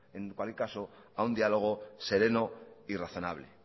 en cualquier caso a un diálogo sereno y razonable